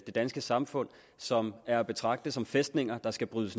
det danske samfund som er at betragte som fæstninger der skal brydes